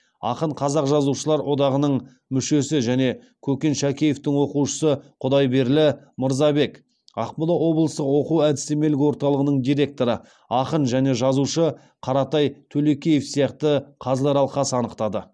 ақын қазақстан жазушылар одағының мүшесі және көкен шәкеевтің оқушысы құдайберлі мырзабек ақмола облыстық оқу әдістемелік орталығының директоры ақын және жазушы қаратай төлекеев сияқты қазылар алқасы анықтады